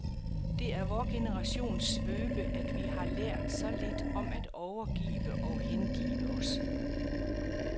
Det er vor generations svøbe, at vi har lært så lidt om at overgive og hengive os.